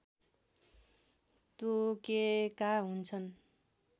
तोकेका हुन्छन्